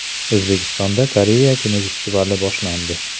O‘zbekistonda Koreya kinofestivali boshlandi.